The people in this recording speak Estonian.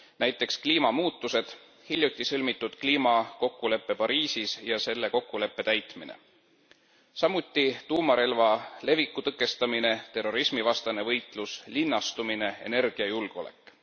nt kliimamuutused, hiljuti sõlmitud kliimakokkulepe Pariisis ja selle kokkuleppe täitmine, samuti tuumarelva leviku tõkestamine, terrorismivastane võitlus, linnastumine ja energiajulgeolek.